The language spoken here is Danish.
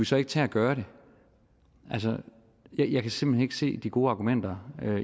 så ikke tage at gøre det altså jeg kan simpelt hen ikke se de gode argumenter